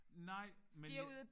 Nej men ja